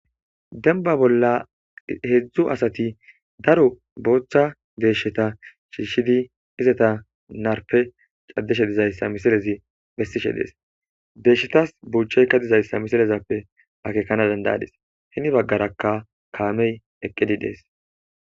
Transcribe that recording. Denba bolla heedzdzu asati daro boochcha deesheta shiishshidi izata narpe caddeshe dizayssa misilezi bessishe dees deeshshetas buuchcheykka dizayssa misilezappe akeekana dandayadis hini baggaraka kaamey eqqidi dees.